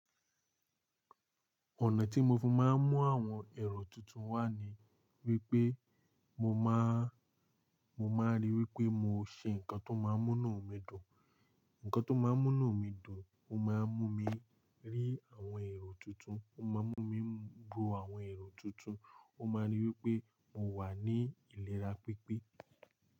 Ọ̀nà tí mo fi máa ń mú àwọn èrò tuntun wá ni wípé mo máa, mo máa rí wípé mo ṣe ǹkan tó máa ń mú inú mi dùn. Ǹkan tó máa ń mú inú mi dùn, ó máa ń mú mi rí àwọn èrò tuntun, ó máa ń mú mi gbò àwọn èrò tuntun, ó máa ń rí wípé mo wà ní ìlera pípé.